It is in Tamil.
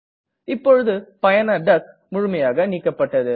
இப்பொழுது பயனர் டக் முழுமையாக நீக்கப்பட்டது